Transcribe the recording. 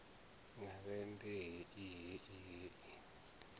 wa vhembe hei hei hei